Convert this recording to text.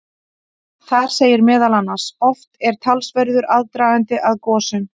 Þar segir meðal annars: Oft er talsverður aðdragandi að gosum.